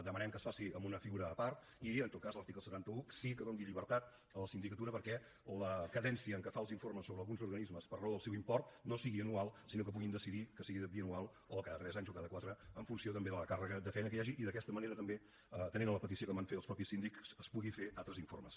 demanem que es faci en una figura a part i en tot cas que l’article setanta un sí que doni llibertat a la sindicatura perquè la cadència amb què fa els informes sobre alguns organismes per raó del seu import no sigui anual sinó que puguin decidir que sigui bianual o cada tres anys o cada quatre en funció també de la càrrega de feina que hi hagi i d’aquesta manera també atenent la petició que em van fer els mateixos síndics es puguin fer altres informes